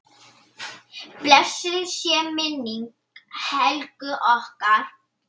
Blessuð sé minning Helgu okkar.